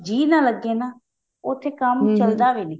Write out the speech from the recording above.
ਜੀ ਨਾ ਲੱਗੇ ਨਾ ਕੰਮ ਚਲਦਾ ਵੀ ਨੀ